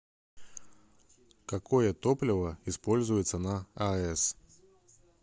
какое топливо используется на аэс